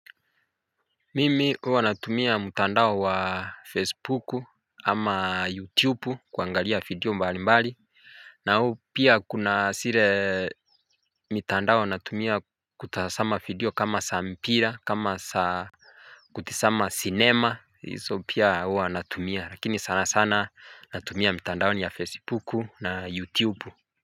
Mimi huwa natumia mtandao wa facebooku ama youtubeu kuangalia video mbali mbali na huu pia kuna zile mitandao natumia kutazama video kama za mpira kama za kutizama sinema hizo pia huwa natumia lakini sana sana natumia mitandaoni ya facebooku na youtubeu.